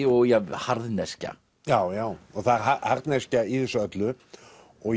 og harðneskja já já það er harðneskja í þessu öllu og